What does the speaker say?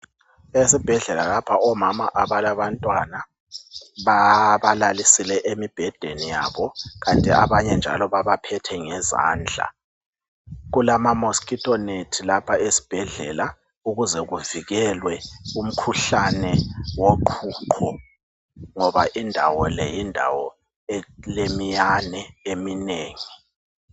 Esibhedlela lapha omama abalantwana babalalisile emibhedeni yabo kanti abanye njalo abanye baba phethe ngezandla. Kulama moskitonethi lapha esibhedlela ukuze kuvikelwe umkhuhlane woqhuqho ngoba indawo le yindawo elemiyane eminengi.